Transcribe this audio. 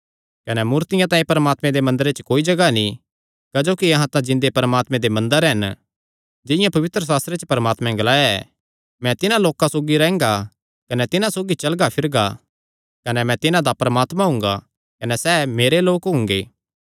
कने मूर्तियां तांई परमात्मे दे मंदरे च कोई जगाह नीं क्जोकि अहां तां जिन्दे परमात्मे दे मंदर हन जिंआं पवित्रशास्त्रे च परमात्मैं ग्लाया ऐ मैं तिन्हां लोकां सौगी रैंह्गा कने तिन्हां सौगी चलगा फिरगा कने मैं तिन्हां दा परमात्मा हुंगा कने सैह़ मेरे लोक हुंगे